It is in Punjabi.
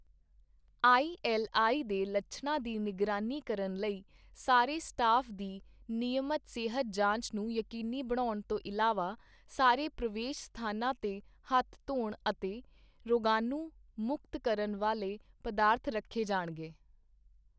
ਆਈਐੱਲਆਈ ਦੇ ਲੱਛਣਾਂ ਦੀ ਨਿਗਰਾਨੀ ਕਰਨ ਲਈ ਸਾਰੇ ਸਟਾਫ਼ ਦੀ ਨਿਯਮਤ ਸਿਹਤ ਜਾਂਚ ਨੂੰ ਯਕੀਨੀ ਬਣਾਉਣ ਤੋਂ ਇਲਾਵਾ ਸਾਰੇ ਪ੍ਰਵੇਸ਼ ਸਥਾਨਾਂ ਤੇ ਹੱਥ ਧੋਣ ਅਤੇ ਰੋਗਾਣੂ ਮੁਕਤ ਕਰਨ ਵਾਲੇ ਪਦਾਰਥ ਰੱਖੇ ਜਾਣਗੇ।